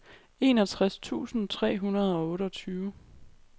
enogtres tusind tre hundrede og otteogtyve